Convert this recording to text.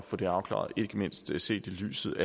få det afklaret ikke mindst set i lyset